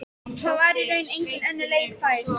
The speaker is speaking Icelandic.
Það var í raun engin önnur leið fær.